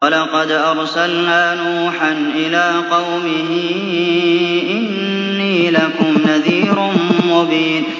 وَلَقَدْ أَرْسَلْنَا نُوحًا إِلَىٰ قَوْمِهِ إِنِّي لَكُمْ نَذِيرٌ مُّبِينٌ